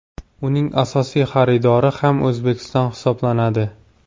Uning asosiy xaridori ham O‘zbekiston hisoblanadi.